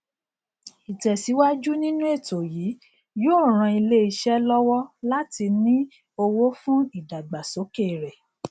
ìtẹsíwájù nínú ètò yìí yóò ran ilé iṣẹ lọwọ láti rí owó fún ìdàgbàsókè rẹ